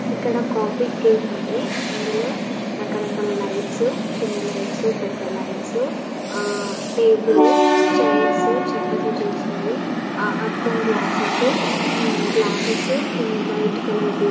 ఇక్కడ coffee cafe ఉంది. అందులో రకరకల లైట్సు చిన్న లైట్సు పెద్ద లైట్సు ఆ టేబుల్ చైర్సు చెక్కతో చేసినవి ఆ-అద్దం గ్లాస్సెస్సు హుమ్ గ్లాస్సెస్సు కింద వైట్ కలర్ ది.